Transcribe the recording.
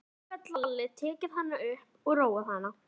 Að lokum gat Lalli tekið hana upp og róað hana.